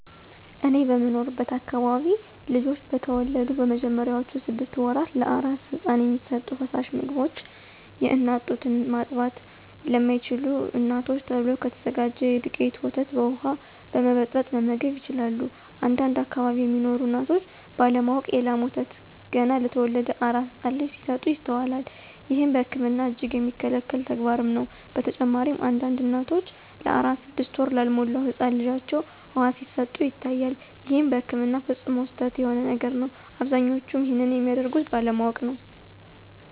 እኔ በምኖርበት አከባቢ ልጆች በተወለዱ በመጀመሪያዎቹ ስድሰት ወራት ለአራስ ህፃን የሚሰጡ ፈሳሽ ምግቦች የአናት ጡት እና ማጥባት ለማይችሉ እናቶች ተብሎ ከተዘጋጀ የዱቄት ወተት በውሃ በመበጥበጥ መመገብ ይችላሉ። አንዳንድ አከባቢ ሚኖሩ እናቶች ባለ ማወቅ የ ላም ወተት ገና ለተወለደ አራስ ህፃን ልጅ ሲሰጡ ይስተዋላል። ይህም በህክምና እጅግ የሚከለከል ተግባርም ነው። በተጨማሪም አንዳንድ እናቶች ለአራስ ስድስት ወር ላልሞላው ህፃን ልጃቸው ውሃ ሲሰጡ ይታያል ይህም በህክምና ፈፅሞ ስህተት የሆነ ነገር ነው። አብዛኞቹም ይንንም የሚያደርጉት ባለማወቅ ነው።